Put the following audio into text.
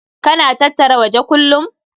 Ka na tattara waje kullum?